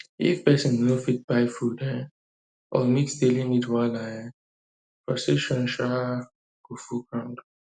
if pesin no fit buy food um or meet daily need wahala um and frustration um go full ground